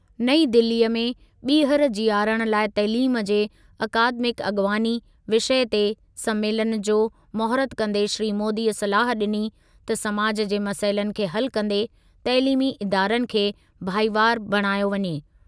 नईं दिल्लीअ में 'ॿीहर जीआरण लाइ तइलीम ते अकादमिक अॻवानी' विषय ते संमेलनु जो महूरतु कंदे श्री मोदीअ सलाह ॾिनी त समाजु जे मसइलनि खे हल कंदे तइलीमी इदारनि खे भाईवार बणायो वञे।